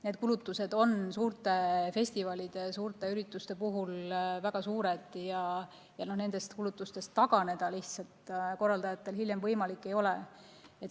Need kulutused on suurte festivalide, suurte ürituste puhul väga suured ja nendest kulutustest hiljem taganeda lihtsalt ei ole korraldajatel võimalik.